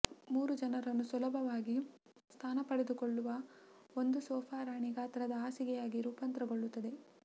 ಮೂರು ಜನರನ್ನು ಸುಲಭವಾಗಿ ಸ್ಥಾನಪಡೆದುಕೊಳ್ಳುವ ಒಂದು ಸೋಫಾ ರಾಣಿ ಗಾತ್ರದ ಹಾಸಿಗೆಯಾಗಿ ರೂಪಾಂತರಗೊಳ್ಳುತ್ತದೆ